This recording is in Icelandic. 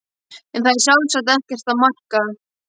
En það er sjálfsagt ekkert að marka.